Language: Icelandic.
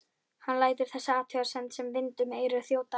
Hann lætur þessa athugasemd sem vind um eyru þjóta.